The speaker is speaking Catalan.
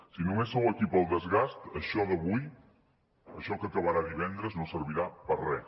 si només sou aquí pel desgast això d’avui això que acabarà divendres no servirà per res